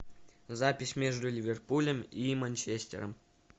запись между ливерпулем и манчестером